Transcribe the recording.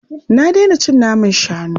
Na daina cin naman shanu.